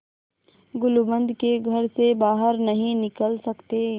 गुलूबंद के घर से बाहर नहीं निकल सकते